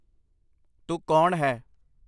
ਤੂੰ ਕੌਣ ਹੈ